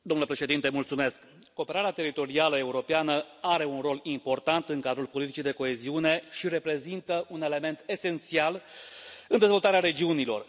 Domnule președinte, cooperarea teritorială europeană are un rol important în cadrul politicii de coeziune și reprezintă un element esențial în dezvoltarea regiunilor.